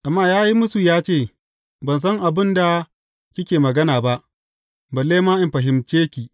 Amma ya yi mūsu ya ce, Ban san abin da kike magana ba, balle ma in fahimce ki.